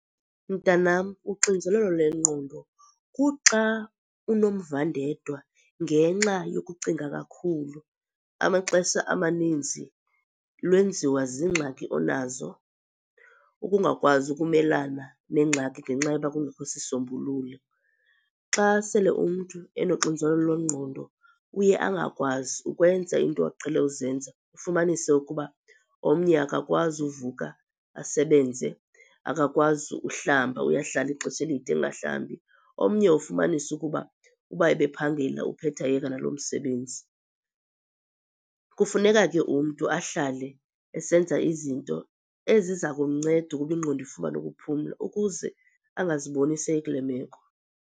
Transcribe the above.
Mntanam, uxinzelelo lwengqondo kuxa unomvandedwa ngenxa yokucinga kakhulu. Amaxesha amaninzi lwenziwa ziingxaki onazo ukungakwazi ukumelana neengxaki ngenxa yokuba kungekho sisombululo. Xa sele umntu enoxinzelelo lwengqondo uye angakwazi ukwenza iinto aqhele uzenza, ufumanise ukuba omnye akakwazi uvuka asebenze, akakwazi uhlamba uyahlala ixesha elide engahlambi, omnye ufumanise ukuba ukuba ebephangela uphetha eyeka nalo msebenzi. Kufuneka ke umntu ahlale esenza izinto eziza kumnceda ukuba ingqondo ifumane ukuphumla ukuze angaziboni sekule meko.